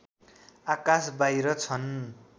आकास बाहिर छन्